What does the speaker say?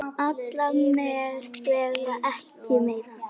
Alla vega ekki meir.